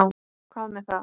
Hvað með það?